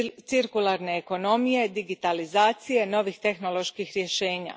cirkularne ekonomije, digitalizacije, novih tehnoloških rješenja.